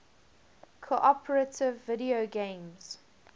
cooperative video games